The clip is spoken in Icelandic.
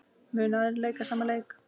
Munu aðrir leika sama leik?